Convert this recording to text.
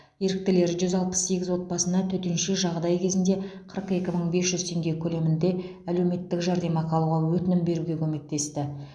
еріктілер жүз алпыс сегіз отбасыға төтенше жағдай кезінде қырық екі мың бес жүз теңге көлемінде әлеуметтік жәрдемақы алуға өтінім беруге көмектесті